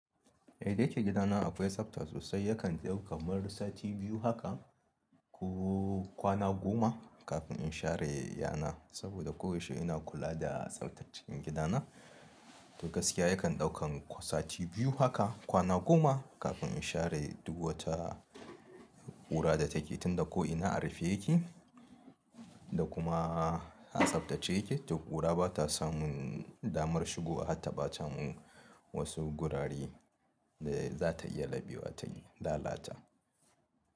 Ehh da yake gidana akwai tsafta sosai yakan daukan kamar sati biyu haka kuh kwana goma kafin in sha re yana saboda koyaushe ina kula da tsaftar cikin gidana. Tuh gaskiya yakan daukan sati biyu haka kwana goma kafin in sha re dur wata kora da ta ke dunda ko ina a rufe yake da kuma a tsaftace yake tuh kora batasamun damar shigowa harta batamin wasu gorare da zata iya labewa ta lalata.